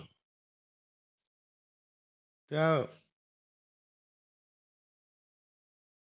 त्या